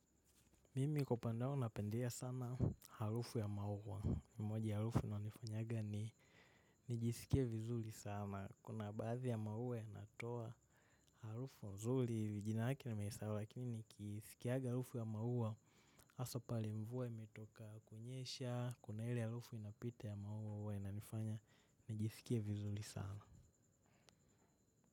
Mimi kupandao napendea sana harufu ya maua. Moja ya harufu inanifanyanga ni nijisikia vizuri sana. Kuna baadhi ya maua yanatoa harufu nzuri. Jina lake nimeisahau lakini nikisikianga harufu ya maua. Hasa pahali mvua imetoka kunyesha. Kuna ile harufu inapita ya maua hua inanifanya. Nijisikia vizuli sana.